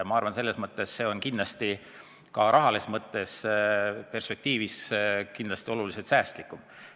Ma arvan, et see on ka rahalises mõttes kindlasti oluliselt säästlikum.